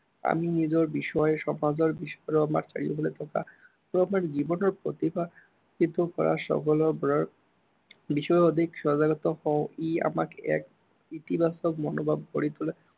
আমি নিজৰ বিষয়ে, সমাজৰ বিষয়ে আৰু আমাৰ চাৰিওফালে থকা আৰু আমাৰ জীৱনৰ প্ৰতিভা শিকিব পৰা, বিষয়ে অধিক সজাগতা হও। ই আমাক এক ইতিবাচক মনোৱল গঢ়ি তোলাত